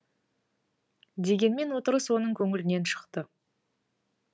дегенмен отырыс оның көңілінен шықты